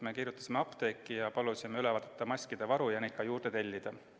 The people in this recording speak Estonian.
Me kirjutasime apteeki ja palusime üle vaadata maskide varu ning neid ka juurde tellida.